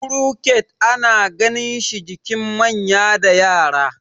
crochet ana ganinshi jikin manya da Yara